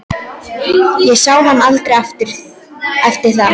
Ég sá hann aldrei eftir það.